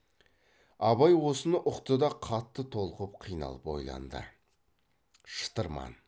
абай осыны ұқты да қатты толқып қиналып ойланды шытырман